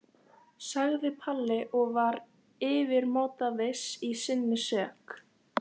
sagði Palli og var yfirmáta viss í sinni sök.